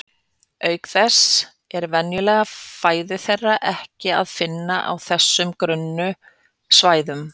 Auk þess er venjulega fæðu þeirra ekki að finna á þessum grunnu svæðum.